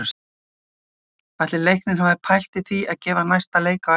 Ætli Leiknir hafi pælt í því að gefa næsta leik á eftir?